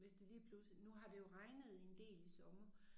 Hvis det lige pludselig nu har det jo regnet en del i sommer